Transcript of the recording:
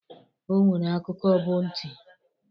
O nwere akụkụ bụ nti.